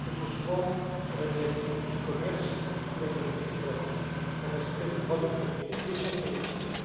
que ce soit sur la directive e commerce ou la directive relative au respect des droits de propriété intellectuelle.